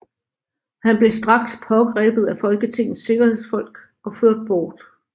Han blev straks pågrebet af Folketingets sikkerhedsfolk og ført bort